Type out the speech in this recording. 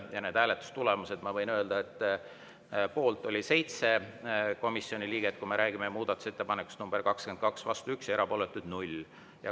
Ja need hääletustulemused, ma võin öelda – kui me räägime muudatusettepanekust nr 22 –, et poolt oli 7 komisjoni liiget, vastu 1 ja erapooletuid 0.